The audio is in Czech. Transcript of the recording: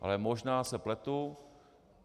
Ale možná se pletu.